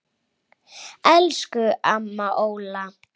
Elsku amma Óla.